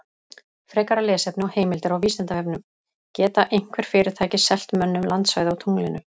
Frekara lesefni og heimildir á Vísindavefnum: Geta einhver fyrirtæki selt mönnum landsvæði á tunglinu?